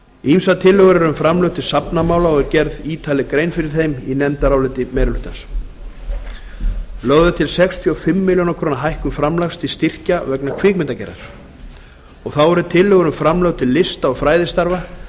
ýmsar tillögur eru um framlög til safnamála og er gerð ítarleg grein fyrir þeim í nefndaráliti meirihlutans lögð er til sextíu og fimm milljónir króna hækkun framlags til styrkja vegna kvikmyndagerðar þá eru tillögur um framlög til lista og fræðistarfa